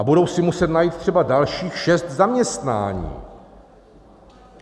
A budou si muset najít třeba dalších šest zaměstnání.